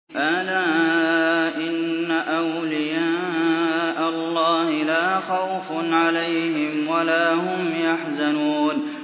أَلَا إِنَّ أَوْلِيَاءَ اللَّهِ لَا خَوْفٌ عَلَيْهِمْ وَلَا هُمْ يَحْزَنُونَ